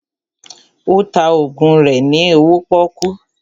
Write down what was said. Ó ta ògùn rẹ ní owó pọ́kú